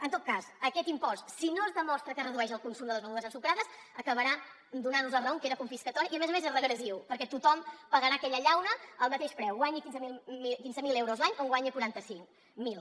en tot cas aquest impost si no es demostra que redueix el consum de les begudes ensucrades acabarà donant nos la raó que era confiscatori i a més a més és regressiu perquè tothom pagarà aquella llauna al mateix preu guanyi quinze mil euros l’any o en guanyi quaranta cinc mil